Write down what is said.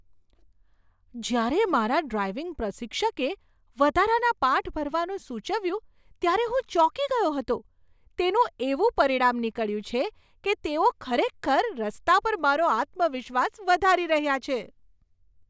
જ્યારે મારા ડ્રાઈવિંગ પ્રશિક્ષકે વધારાના પાઠ ભરવાનું સૂચવ્યું ત્યારે હું ચોંકી ગયો હતો. તેનું એવું પરિણામ નીકળ્યું છે કે તેઓ ખરેખર રસ્તા પર મારો આત્મવિશ્વાસ વધારી રહ્યા છે.